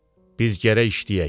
Biz gərək işləyək.